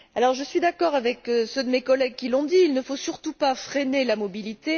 Je suis d'accord avec ceux de mes collègues qui l'ont dit, il ne faut surtout pas freiner la mobilité.